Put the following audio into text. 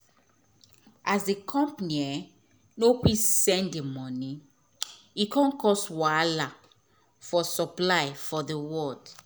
as d company nor quick send de moni e come cause wahala for supply for d world